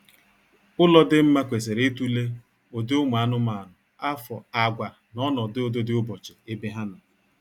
Ụlọ dị mma kwesịrị itule ụdị ụmụ anụmanụ, afo, àgwà, na ọnọdụ ụdịdịụbọchị ebe ha nọ